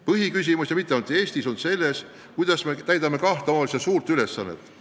Põhiküsimus – ja mitte ainult Eestis – on selles, kuidas me täidame kahte suurt omavalitsuste ülesannet.